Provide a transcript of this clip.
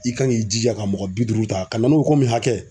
I kan k'i jija ka mɔgɔ bi duuru ta ka na n'o ye ko min hakɛ